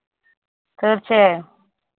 തീർച്ചയായും